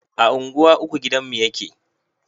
A unguwa uku gidanmu yake